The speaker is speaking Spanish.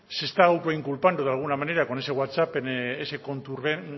se está autoinculpando de alguna manera con ese whatsapp en ese